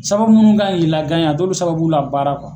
Sababu munnu kan k'i la a t'olu sababuw labaara